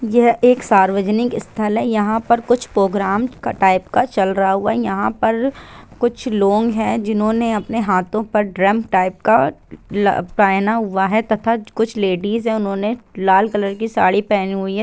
यह एक सार्वजनिक स्थल है यहाँ पर कुछ प्रोग्राम टाइप का चल रहा है यहाँ पर कुछ लोग है जिन्होंने अपने हाथों पे ड्रम टाइप का पहने हुए है तथा कुछ लेडिज है उन्होंने लाल कलर की साड़ी पेहन हुई है।